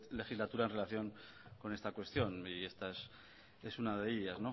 legislatura en relación con esta cuestión y esta es una de ellas